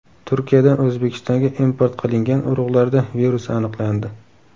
Turkiyadan O‘zbekistonga import qilingan urug‘larda virus aniqlandi.